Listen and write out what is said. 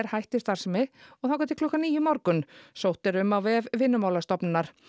hætti starfsemi og þangað til klukkan níu í morgun sótt er um á vef Vinnumálastofnunar